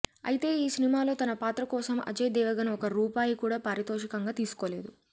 అయితే ఈ సినిమాలో తన పాత్ర కోసం అజయ్ దేవగణ్ ఒక్క రూపాయి కూడా పారితోషికంగా తీసుకోలేదట